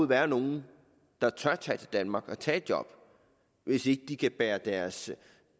være nogen der tør tage til danmark og tage et job hvis ikke de kan bære deres